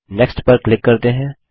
next पर click करते हैं